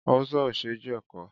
Awùsá ò ṣe jẹ̀kọ.